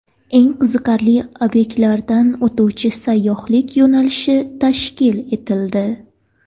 Eng qiziqarli obyektlardan o‘tuvchi sayyohlik yo‘nalishi tashkil etildi.